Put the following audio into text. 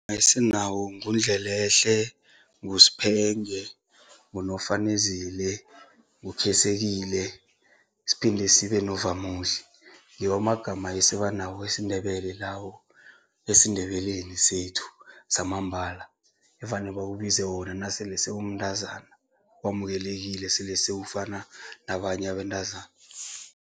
Esinawo nguNdlelehle, nguSphenge, nguNofanezile siphinde sibe noVamuhle, ngiwo amagama esiba nawo wesiNdebele lawo, esiNdebeleni sethu samambala evane bakubize wona nasele sewumntazana, wamukelekile, sele sewufana nabanye abentazana.